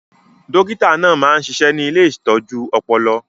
Dókítà náà máa ń ṣiṣẹ́ ní ilé ìtọ́jú ọpọlọ